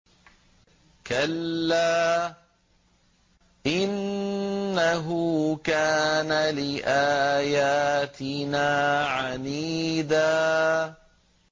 كَلَّا ۖ إِنَّهُ كَانَ لِآيَاتِنَا عَنِيدًا